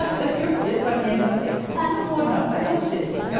Até que um dia, para a minha irmã, falei, ah não vou não, vai você.